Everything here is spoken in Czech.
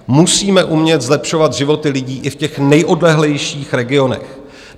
Musíme umět zlepšovat životy lidí i v těch nejodlehlejších regionech.